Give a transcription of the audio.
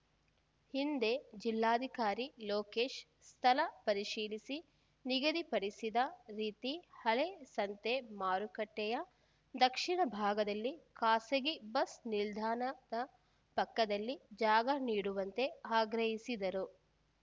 ಹಿಂದೆ ಜಿಲ್ಲಾಧಿಕಾರಿ ಲೋಕೇಶ್‌ ಸ್ಥಳ ಪರಿಶೀಲಿಸಿ ನಿಗದಿಪಡಿಸಿದ ರೀತಿ ಹಳೆ ಸಂತೆ ಮಾರುಕಟ್ಟೆಯ ದಕ್ಷಿಣ ಭಾಗದಲ್ಲಿ ಖಾಸಗಿ ಬಸ್‌ ನಿಲ್ದಾಣದ ಪಕ್ಕದಲ್ಲಿ ಜಾಗ ನೀಡುವಂತೆ ಆಗ್ರಹಿಸಿದರು